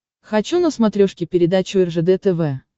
хочу на смотрешке передачу ржд тв